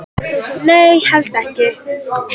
Nei, held ekki